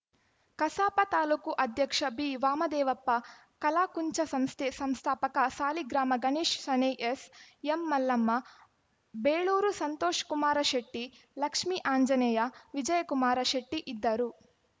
ಕಸಾಪ ತಾಲೂಕು ಅಧ್ಯಕ್ಷ ಬಿವಾಮದೇವಪ್ಪ ಕಲಾಕುಂಚ ಸಂಸ್ಥೆ ಸಂಸ್ಥಾಪಕ ಸಾಲಿಗ್ರಾಮ ಗಣೇಶ್ ಶಣೈ ಎಸ್‌ಎಂ ಮಲ್ಲಮ್ಮ ಬೇಳೂರು ಸಂತೋಷ್ ಕುಮಾರ ಶೆಟ್ಟಿ ಲಕ್ಷ್ಮೀ ಆಂಜನೇಯ ವಿಜಯಕುಮಾರ ಶೆಟ್ಟಿಇದ್ದರು